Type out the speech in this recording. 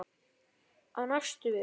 Á næstu vikum.